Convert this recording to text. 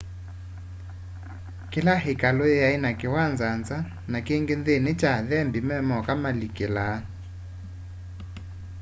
kĩla ĩkalũ yaĩ na kĩwanza nza na kĩngĩ nthĩnĩ kya athembĩ memoka malikĩlaa